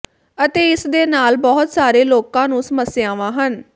ਅਤੇ ਇਸ ਦੇ ਨਾਲ ਬਹੁਤ ਸਾਰੇ ਲੋਕਾਂ ਨੂੰ ਸਮੱਸਿਆਵਾਂ ਹਨ